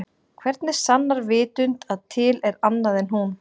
Hvernig sannar vitund að til er annað en hún?